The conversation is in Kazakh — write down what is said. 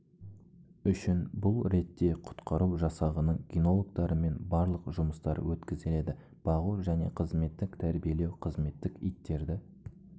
үшін бұл ретте құтқару жасағының кинологтарымен барлық жұмыстар өткізіледі бағу және қызметтік тәрбиелеу қызметтік иттерді